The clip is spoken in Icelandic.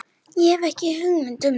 Hef ekki hugmynd um það.